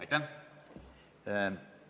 Aitäh!